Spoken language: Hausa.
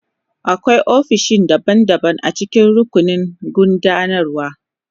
Akwai ofisoshi daban-daban a cikin rukunin gudanarwa.